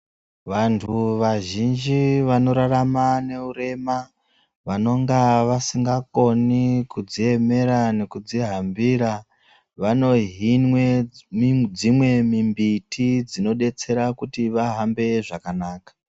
Vantu vazhinji vanorarama neurema vanonga vasingakoni kudziemera nekudzihambira vanohinwa dzimweni mimbiti dzino detsera vahambe zvakanaka.